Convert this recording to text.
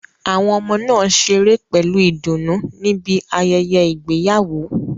Àwọn ọmọ náà ṣeré pẹ̀lú ìdùnnú níbi ayẹyẹ ìgbéyàwó.